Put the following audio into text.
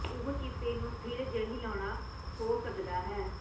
ਉਹ ਕਿਸੇ ਨੂੰ ਸਥਿਰ ਜ ਹਿਲਾਉਣ ਹੋ ਸਕਦਾ ਹੈ